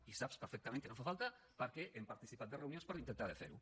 i saps perfectament que no fa falta perquè hem participat en reunions per intentar de fer ho